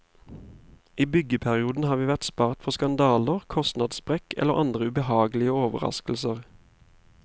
I byggeperioden har vi vært spart for skandaler, kostnadssprekk eller andre ubehagelige overraskelser.